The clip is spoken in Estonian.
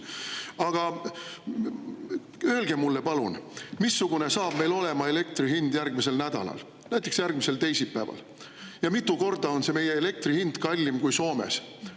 Aga öelge mulle palun, missugune saab meil olema elektri hind järgmisel nädalal, näiteks järgmisel teisipäeval, ja mitu korda on see meie elektri hind kallim kui Soomes.